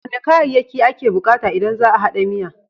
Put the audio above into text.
Wane kayayyaki ake bukata idan za a hada miya?